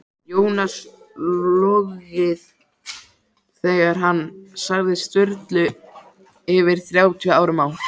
Jónas logið þegar hann sagði Sturlu fyrir þrjátíu árum á